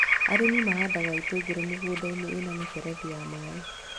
Arĩmi mahandaga itũngũrũ mĩgũnda-inĩ ĩna mĩberethi ya maĩ